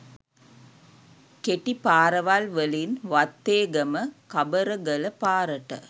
කෙටි පාරවල් වලින් වත්තේගම – කබරගල පාරට